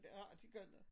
Det har de godt nok